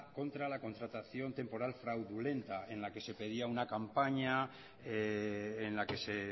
contra la contratación temporal fraudulenta en la que se pedía una campaña en la que se